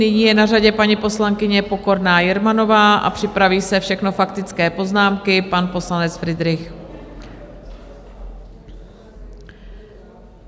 Nyní je na řadě paní poslankyně Pokorná Jermanová a připraví se - všechno faktické poznámky - pan poslanec Fridrich.